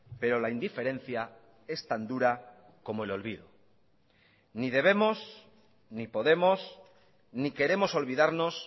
pero la indiferencia es tan dura como el olvido ni debemos ni podemos ni queremos olvidarnos